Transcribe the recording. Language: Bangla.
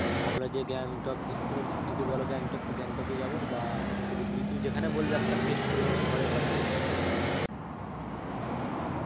আমরা যে গ্যাংটক ঘুরতে, তুমি যদি বোলো গ্যাংটক তো গ্যাংটকেই যাবো বা শিলিগুড়ি তুমি যেখানেই বলবে সেখানেই একটা fixed করব. পরে কথা বলছি, ঠিক আছে তোমাকে. ঠিক আছে.